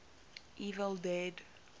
evil dead